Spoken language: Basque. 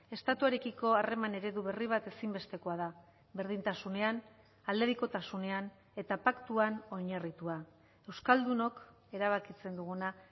estatuarekiko harreman eredu berri bat ezinbestekoa da berdintasunean aldebikotasunean eta paktuan oinarritua euskaldunok erabakitzen duguna